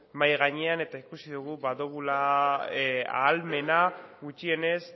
mahai gainean eta ikusi dugu ahal dugula ahalmena gutxienez